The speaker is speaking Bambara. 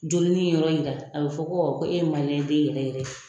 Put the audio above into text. Jolinin yɔrɔ in a bi fɔ ko e ye den yɛrɛ yɛrɛ.